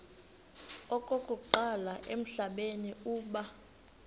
okokuqala emhlabeni uba